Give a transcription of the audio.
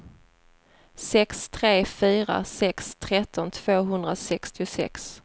sex tre fyra sex tretton tvåhundrasextiosex